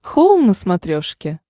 хоум на смотрешке